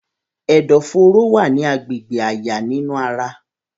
Ẹdọfóró wa ni agbegbe àyà ninu ara.